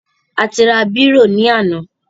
A ti ra bírò ní àná.